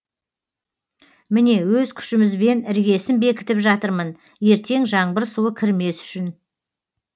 міне өз күшімізбен іргесін бекітіп жатырмын ертең жаңбыр суы кірмес үшін